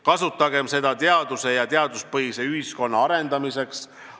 Kasutagem seda teaduse ja teaduspõhise ühiskonna arendamiseks.